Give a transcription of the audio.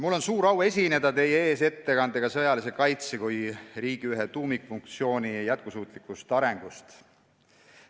Mul on suur au esineda teie ees ettekandega sõjalise kaitse kui riigi ühe tuumikfunktsiooni jätkusuutlikust arengust.